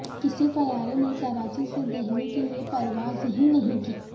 کسی طیارے نے کراچی سے دہلی کیلئے پروازہی نہیں کی